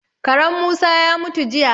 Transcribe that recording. Karen Musa ya mutu jiya.